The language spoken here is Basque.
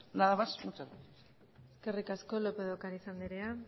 nada más muchas gracias eskerrik asko lópez de ocariz andrea